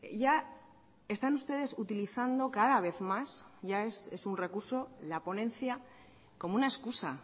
ya están ustedes utilizando cada vez más ya es un recurso la ponencia como una excusa